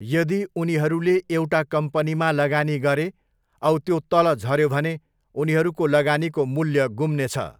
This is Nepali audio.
यदि उनीहरूले एउटा कम्पनीमा लगानी गरे औ त्यो तल झऱ्यो भने, उनीहरूको लगानीको मूल्य गुम्नेछ।